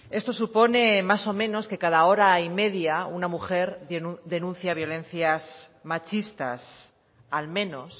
esto supone más o menos que cada hora y media una mujer denuncia violencias machistas al menos